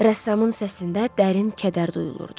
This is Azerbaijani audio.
Rəssamın səsində dərin kədər duyulurdu.